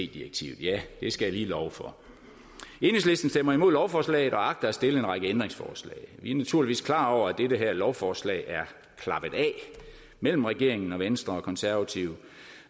direktivet ja det skal jeg lige love for enhedslisten stemmer imod lovforslaget og agter at stille en række ændringsforslag vi er naturligvis klar over at dette her lovforslag er klappet af mellem regeringen venstre og konservative